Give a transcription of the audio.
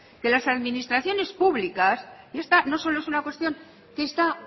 que las administraciones públicas y esta no es solo una cuestión que está